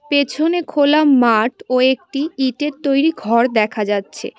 পেছনে খোলা মাঠ ও একটি ইটের তৈরি ঘর দেখা যাচ্ছে।